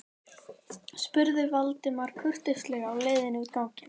spurði Valdimar kurteislega á leiðinni út ganginn.